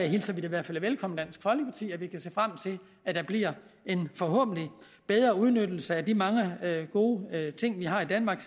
hilser det i hvert fald velkommen i dansk folkeparti at vi kan se frem til at der bliver en forhåbentlig bedre udnyttelse af de mange gode ting vi har i danmark